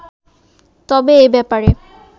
তবে এ ব্যাপারে